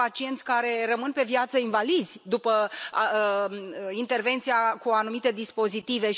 Sunt pacienți care rămân pe viață invalizi după intervenția cu anumite dispozitive.